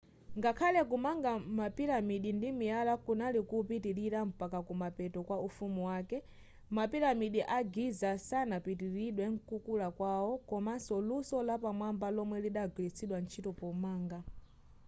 ngakhale kumanga pa mapiramidi ndimiyala kunali kupitilira mpaka kumapeto kwa ufumu wakale mapiramidi a giza sanapitililidwe mkukula kwawo komaso luso lapamwamba lomwe lidagwiritsidwa ntchito pomanga